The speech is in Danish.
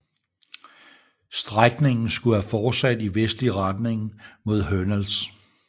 Strækningen skulle have fortsat i vestlig retning mod Hernals